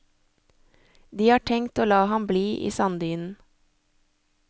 De har tenkt å la ham bli i sanddynen.